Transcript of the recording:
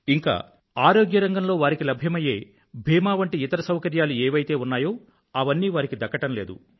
ఇంకా బీమా లాంటి ఆరోగ్య రంగం దృష్టిలో వారికి లభ్యమయ్యే ఇతర సౌకర్యాలు ఏవైతే ఉన్నాయో అవన్నీ వారికి దక్కడం లేదు